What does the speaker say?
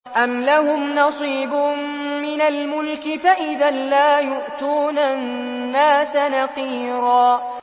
أَمْ لَهُمْ نَصِيبٌ مِّنَ الْمُلْكِ فَإِذًا لَّا يُؤْتُونَ النَّاسَ نَقِيرًا